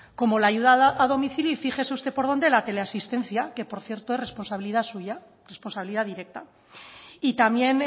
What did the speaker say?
como la ayuda a domicilio y fíjese usted por donde la teleasistencia que por cierto es responsabilidad suya responsabilidad directa y también